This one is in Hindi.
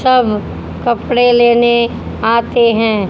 सब कपड़े लेने आते हैं।